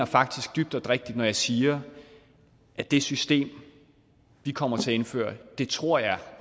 faktisk dybt oprigtigt når jeg siger at det system vi kommer til at indføre tror jeg